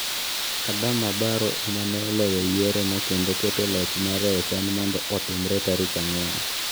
Adama Barrow ema ne oloyo yiero no kendo keto loch mare ochan mondo otimre tarik ang'wen.